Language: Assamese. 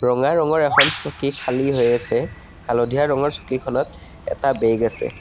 ৰঙা ৰঙৰ এখন চকী খালী হৈ আছে হালধীয়া ৰঙৰ চকীখনত এটা বেগ আছে।